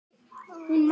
Hún mælti